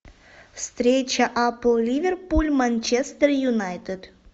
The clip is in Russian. встреча апл ливерпуль манчестер юнайтед